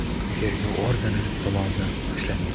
tergov organi tomonidan ushlangan.